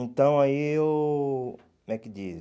Então aí eu, como é que diz...